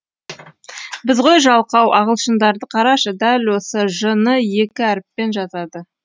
біз ғой жалқау ағылшындарды қарашы дәл осы ж ны екі әріппен жазады ғой